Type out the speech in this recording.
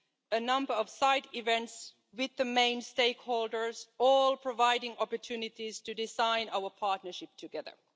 a number of side events, with the main stakeholders all providing opportunities to design our partnership together.